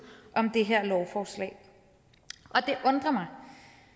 om det her lovforslag det undrer mig